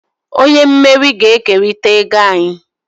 Onye mmeri ga-ekerịta ego anyị.